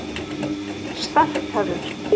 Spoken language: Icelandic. Starkaður